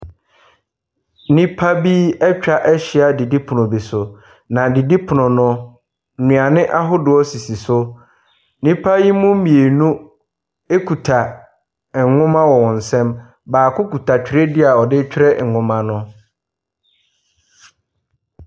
Nnipa bi atwa ahyia didipono bi so. Na didipono no, nnuane ahodoɔ sisi so. Nnipa ne mu mmienu kita nwoma wɔ wɔn nsam. Baako kita twerɛdua a ɔretwerɛ nwoma no.